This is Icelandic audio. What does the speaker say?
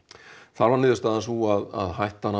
þar var niðurstaðan sú að hættan